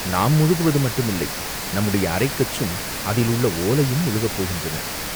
நாம் முழுகுவது மட்டுமில்லை, நம்முடைய அரைக்கச்சும் அதில் உள்ள ஓலையும் முழுகப் போகின்றன!